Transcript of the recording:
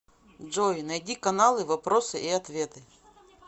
джой найди каналы вопросы и ответы